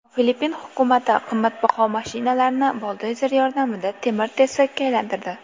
Filippin hukumati qimmatbaho mashinalarni buldozer yordamida temir-tersakka aylantirdi.